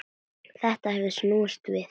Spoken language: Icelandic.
Þetta hefur snúist við.